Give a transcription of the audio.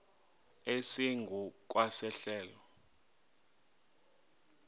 esingu kwa sehlelo